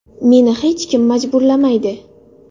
Meni hech kim majburlamaydi.